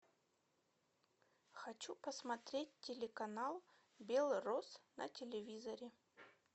хочу посмотреть телеканал белрос на телевизоре